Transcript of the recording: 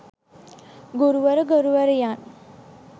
ගුරුවර ගුරුවරියන්